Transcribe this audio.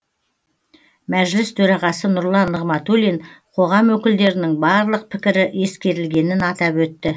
мәжіліс төрағасы нұрлан нығматулин қоғам өкілдерінің барлық пікірі ескерілгенін атап өтті